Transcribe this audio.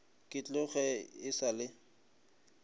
ke tloge e sa le